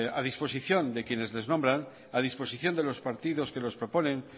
a disposición de quienes les nombran a disposición de los partidos que los proponen